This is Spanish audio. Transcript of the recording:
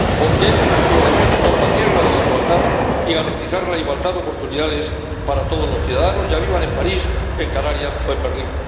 porque es nuestro deber combatir la desigualdad y garantizar la igualdad de oportunidades para todos los ciudadanos, ya vivan en París, en Canarias o en Berlín